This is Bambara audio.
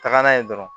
Taga n'a ye dɔrɔn